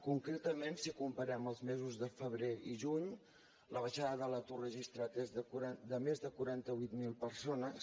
concretament si comparem els mesos de febrer i juny la baixada de l’atur registrat és de més de quaranta vuit mil persones